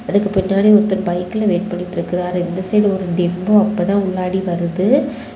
அதுக்கு பின்னாடி ஒருத்தன் பைக்ல வெயிட் பண்ணிட்டு இருக்காரு இந்த சைடு ஒரு டெம்போ அப்பதான் உள்ளாடி வருது.